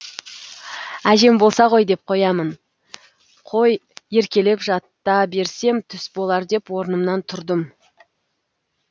әжем болса ғой деп қоямын қой еркелеп жата берсем түс болар деп орнымнан тұрдым